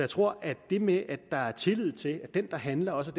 tror at det med at der er tillid til at den der handler også